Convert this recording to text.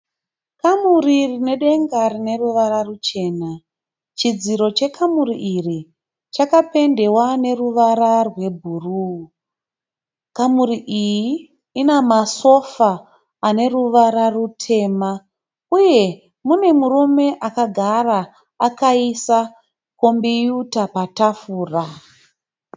Kamuri rine denga rine ruvara rwuchena chidziro chekamuri irI chakapendewa neruvara rwebhuruu. Kamuri iyi ine masofa ane ruvara rwutema. Pane murume akagara akaisa kombiyuta patafura.